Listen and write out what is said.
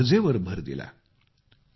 त्याच्या गरजेवर भर दिला